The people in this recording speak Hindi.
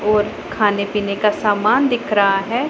और खाने पीने का समान दिख रहा है।